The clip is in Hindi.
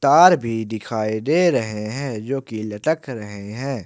तार भी दिखाई दे रहे हैं जो की लटक रहे हैं।